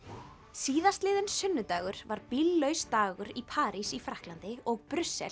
síðastliðinn sunnudagur var bíllaus dagur í París í Frakklandi og Brussel